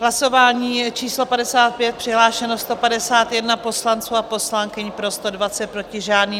Hlasování číslo 55, přihlášeno 151 poslanců a poslankyň, pro 120, proti žádný.